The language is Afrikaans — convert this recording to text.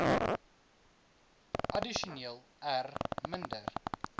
addisioneel r minder